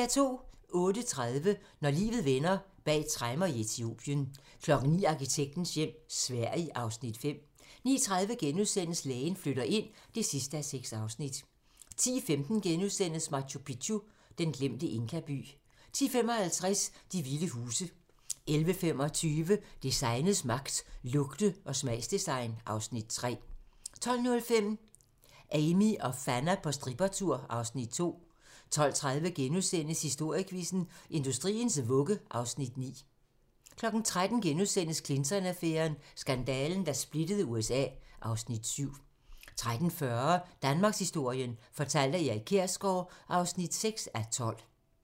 08:30: Når livet vender: Bag tremmer i Etiopien 09:00: Arkitektens hjem - Sverige (Afs. 5) 09:30: Lægen flytter ind (6:6)* 10:15: Machu Picchu: Den glemte inkaby * 10:55: De Vilde Huse 11:25: Designets magt - Lugte- og smagsdesign (Afs. 3) 12:05: Amie og Fanna på strippertur (Afs. 2) 12:30: Historiequizzen: Industriens vugge (Afs. 9)* 13:00: Clinton-affæren: Skandalen, der splittede USA (Afs. 7)* 13:40: Danmarkshistorien fortalt af Erik Kjersgaard (6:12)